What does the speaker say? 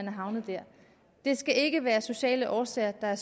er havnet der det skal ikke udelukkende være sociale årsager der